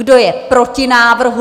Kdo je proti návrhu?